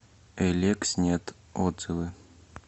элекснет отзывы